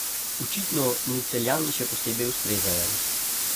Očitno mu Celjani še posebej ustrezajo.